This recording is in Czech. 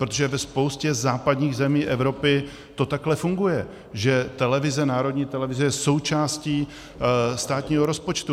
Protože ve spoustě západních zemí Evropy to takhle funguje, že televize, národní televize je součástí státního rozpočtu.